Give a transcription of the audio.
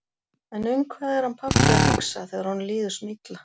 En um hvað er hann pabbi að hugsa um þegar honum líður svona illa?